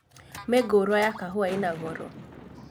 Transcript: Mĩngũrwa ya kahũa ĩna goro